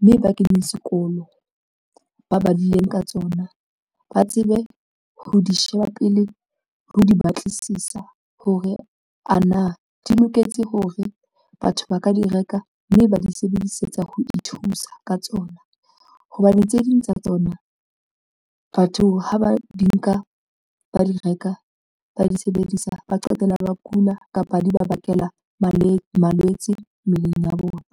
mme ba keneng sekolo. Ba badileng ka tsona ba tsebe ho di sheba pele ho di batlisisa hore a na di loketse hore batho ba ka di reka mme ba di sebedisetsa ho ithusa ka tsona hobane tse ding tsa tsona batho ha ba di nka ba di reka, ba di sebedisa, ba qetella ba kula kapa di bakela malwetse malwetse mmeleng ya bona.